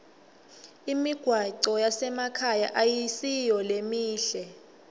imigwaco yasemakhaya ayisiyo lemihle